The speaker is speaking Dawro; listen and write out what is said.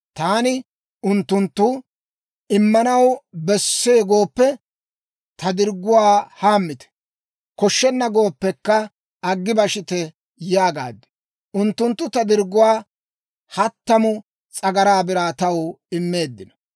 Taani unttunttu, «Immanaw besse gooppe, ta dirgguwaa hammite; koshshenna gooppekka, aggi bashite» yaagaad. Unttunttu ta dirgguwaa hattamu s'agaraa biraa taw immeeddino.